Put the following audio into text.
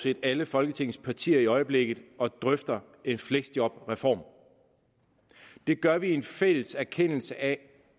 set alle folketingets partier i øjeblikket og drøfter en fleksjobreform det gør vi i en fælles erkendelse af